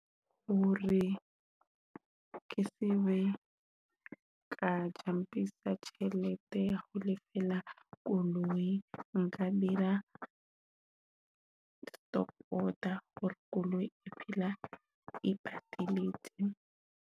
Hore ke tsebe ka jumpisa tjhelete ho lefella koloi. Nka dira stop order hore koloi e phele e ipatile